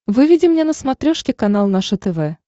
выведи мне на смотрешке канал наше тв